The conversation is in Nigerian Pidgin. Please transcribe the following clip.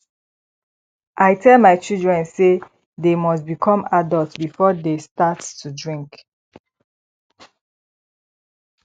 i tell my children say dey must become adult before dey start to drink